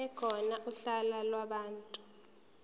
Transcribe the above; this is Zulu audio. ekhona uhla lwabantu